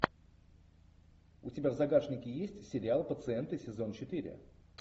у тебя в загашнике есть сериал пациенты сезон четыре